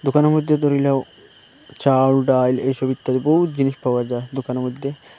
দোকানে মদ্যে দরি লাও চাল ডাল এইসব ইত্যাদি বহুত জিনিস পাওয়া যায় দুকানে মদ্যে।